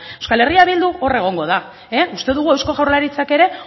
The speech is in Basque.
eh bildu hor egongo da uste dugu eusko jaurlaritzak ere